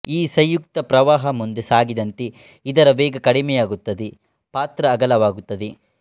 ಈ ಸಂಯುಕ್ತ ಪ್ರವಾಹ ಮುಂದೆ ಸಾಗಿದಂತೆ ಇದರ ವೇಗ ಕಡಿಮೆಯಾಗುತ್ತದೆ ಪಾತ್ರ ಅಗಲವಾಗುತ್ತದೆ